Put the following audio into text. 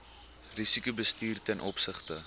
risikobestuur ten opsigte